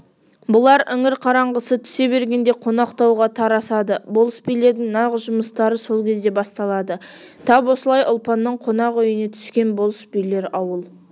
бұлар іңір қараңғысы түсе бергенде қонақтауға тарасады болыс-билердің нағыз жұмыстары сол кезде басталады тап осылай ұлпанның қонақ үйіне түскен болыс-билер ауыл